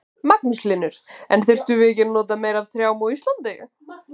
Magnús Hlynur: En þyrftum við ekki að nota meira af trjám á Íslandi?